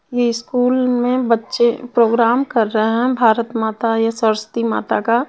ये स्कूल में बच्चे प्रोग्राम कर रहे है भारत माता या सरस्वती माता का--